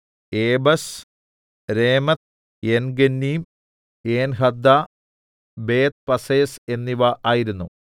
ഏബെസ് രേമെത്ത് ഏൻഗന്നീം ഏൻഹദ്ദ ബേത്ത്പസ്സേസ് എന്നിവ ആയിരുന്നു